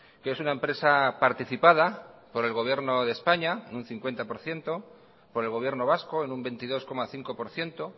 que es una empresa participada por el gobierno de españa en un cincuenta por ciento por el gobierno vasco en un veintidós coma cinco por ciento